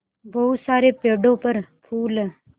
बहुत सारे पेड़ों पर फूल है